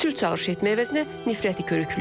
Sülh çağırış etmək əvəzinə nifrəti körükləyib.